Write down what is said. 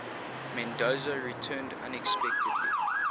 mendoza returned unexpectedly